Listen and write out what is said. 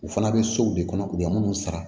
U fana bɛ sow de kɔnɔ k'u bɛ minnu sara